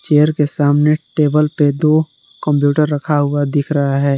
Chair के सामने table पे दो कंप्यूटर रखा हुआ दिख रहा है।